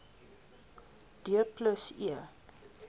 d plus e